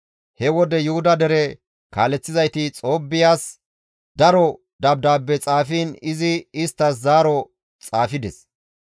He wode Yuhuda dere kaaleththizayti Xoobbiyas daro dabdaabbe xaafiin izi isttas zaaro xaafides.